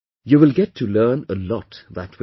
You will get to learn a lot that way